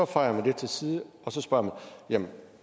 fejer man det til side og så spørger man jamen